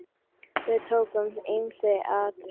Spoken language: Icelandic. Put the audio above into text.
Við tókum ýmis atriði.